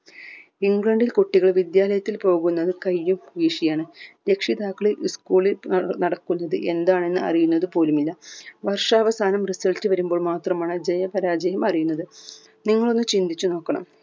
ഇംഗ്ലണ്ടിൽ കുട്ടികൾ വിദ്യാലയത്തിൽ പോകുന്നത് കൈയ്യും വീശിയാണ് രക്ഷിതാക്കളിൽ school ൽ ഏർ നടക്കുന്നത് എന്നതാണെന്ന് അറിയുന്നത് പോലും ഇല്ല വർഷാവസാനം result വരുമ്പോൾ മാത്രമാണ് ജയ പരാജയം അറിയുന്നത്